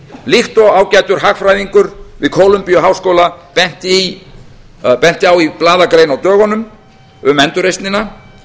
líkt og ágætur hagfræðingur við kólumbíuháskóla benti á í blaðagrein á dögunum um endurreisnina